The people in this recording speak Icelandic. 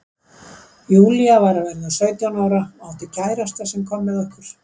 Júlía var að verða sautján ára og átti kærasta sem kom með okkur.